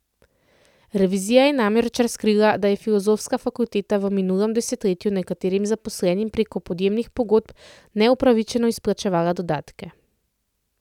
Revizija je namreč razkrila, da je filozofska fakulteta v minulem desetletju nekaterim zaposlenim preko podjemnih pogodb neupravičeno izplačevala dodatke.